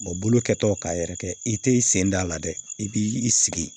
bolo kɛtɔ k'a yɛrɛ kɛ i tɛ i sen da a la dɛ i b'i sigi